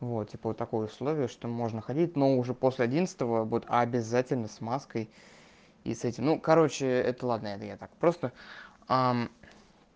вот типа вот такое условие что можно ходить но уже после одиннадцатого будет обязательно с маской и с этим ну короче это ладно это я так просто